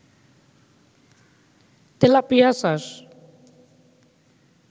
tilapia চাষ